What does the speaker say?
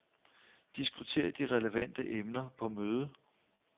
Diskuter de relevante emner på mødet.